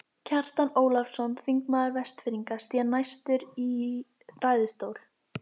Kjartan Ólafsson, þingmaður Vestfirðinga, sté næstur í ræðustól.